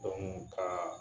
ka